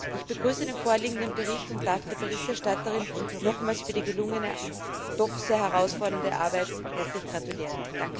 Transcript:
Ich begrüße den vorliegenden Bericht und darf der Berichterstatterin nochmals für die gelungene und doch sehr herausfordernde Arbeit herzlich gratulieren.